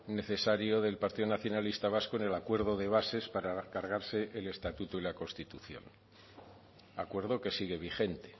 necesario del partido nacionalista vasco en el acuerdo de bases para cargarse el estatuto y la constitución acuerdo que sigue vigente